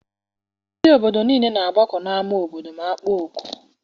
Ndị obodo niile na-agbakọ n'ama obodo ma akpọọ oku.